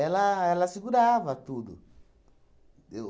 Ela ela segurava tudo. Eu